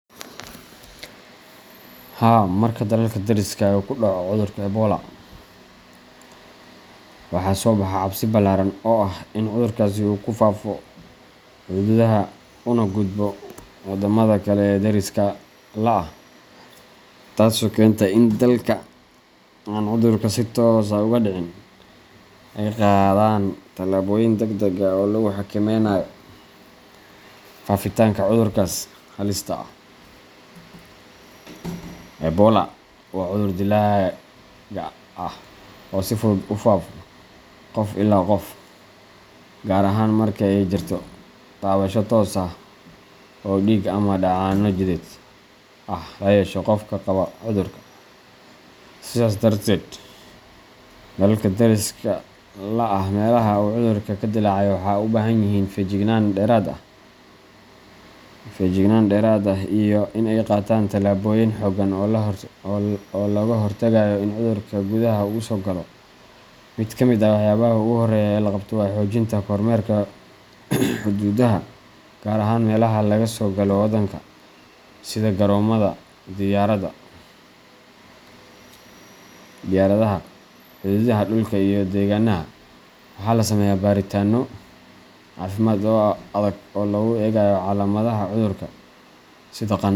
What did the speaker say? Haa, marka dalalka dariska ah uu ka dhaco cudurka Ebola, waxaa soo baxa cabsi ballaaran oo ah in cudurkaas uu ku faafo xuduudaha una gudbo waddamada kale ee deriska la ah, taasoo keenta in dalalka aan cudurka si toos ah uga dhicin ay qaadaan tallaabooyin degdeg ah oo lagu xakameynayo faafitaanka cudurkaas halista ah. Ebola waa cudur dilaaga ah oo si fudud ugu faafo qof ilaa qof, gaar ahaan marka ay jirto taabasho toos ah oo dhiig ama dheecaanno jidheed ah la yeesho qof qaba cudurka. Sidaas darteed, dalalka deriska la ah meelaha uu cudurku ka dillaacay waxay u baahan yihiin feejignaan dheeraad ah iyo in ay qaataan tallaabooyin xooggan oo looga hortagayo in cudurka gudaha u soo galo. Mid ka mid ah waxyaabaha ugu horreeya ee la qabto waa xoojinta kormeerka xuduudaha, gaar ahaan meelaha laga soo galo waddanka sida garoomada diyaaradaha, xuduudaha dhulka iyo dekedaha. Waxaa la sameeyaa baaritaanno caafimaad oo adag oo lagu eegayo calaamadaha cudurka sida qandho.